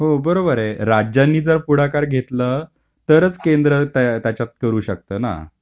हो बरोबर आहे राज्यांनी जर पुढाकार घेतल तरच केंद्र त्याच्यात करू शकत ना.